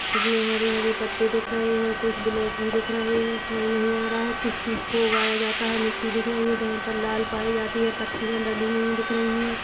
इसमें हरे हरे पत्ते दिख रहे है कुछ ब्लैक भी दिख रहे है समझ नहीं आ रहा किस चीज को उगाया जाता है मिटटी दिख रही है जहाँ पर लाल पाई जाती है पत्तियां डली हुई दिख रही है।